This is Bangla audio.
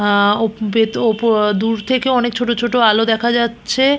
আহ অপ ভেত ওপ দূর থেকে অনেক ছোট ছোট আলো দেখা যাচ্ছে।